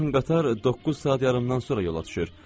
Ən yaxın qatar doqquz saat yarımdan sonra yola düşür.